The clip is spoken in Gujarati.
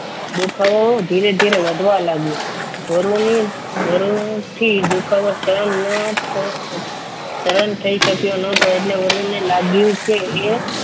દુખાવો ધીરે ધીરે વધવા લાગ્યો વરુની વરુથી દુખાવો સહન ન થયો સહર થઈ શક્યો નહોતો એટલે વરૂણને લાગ્યું કે એ